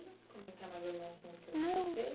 Comentar mais algum assunto que eu não citei? Não.